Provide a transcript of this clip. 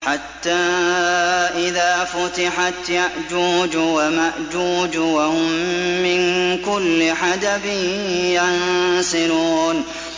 حَتَّىٰ إِذَا فُتِحَتْ يَأْجُوجُ وَمَأْجُوجُ وَهُم مِّن كُلِّ حَدَبٍ يَنسِلُونَ